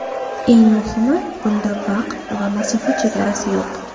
Eng muhimi bunda vaqt va masofa chegarasi yo‘q.